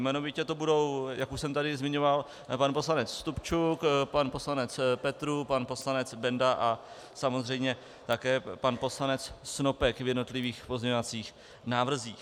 Jmenovitě to budou, jak už jsem tady zmiňoval, pan poslanec Stupčuk, pan poslanec Petrů, pan poslanec Benda a samozřejmě také pan poslanec Snopek v jednotlivých pozměňovacích návrzích.